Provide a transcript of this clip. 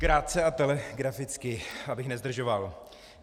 Krátce a telegraficky, abych nezdržoval.